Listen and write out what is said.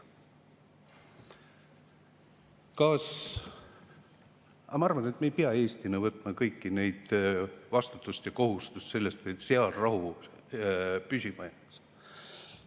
Aga ma arvan, et me ei pea Eestina võtma kogu vastutust selle eest ja kohustust, et seal rahu püsima jääks.